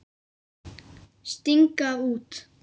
Sting gaf út.